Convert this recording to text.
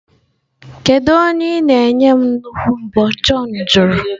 Kedu onye ị na-enye m nnukwu mbo? John jụrụ.